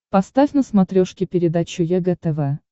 поставь на смотрешке передачу егэ тв